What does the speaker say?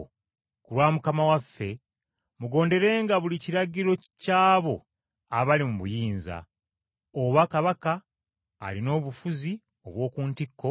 Ku lwa Mukama waffe, mugonderenga buli kiragiro ky’abo abali mu buyinza, oba kabaka alina obufuzi obw’oku ntikko,